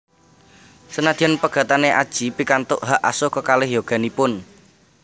Senadyan pegatan Adjie pikantuk hak asuh kekalih yoganipun